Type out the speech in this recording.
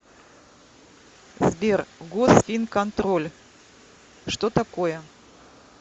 сбер госфинконтроль что такое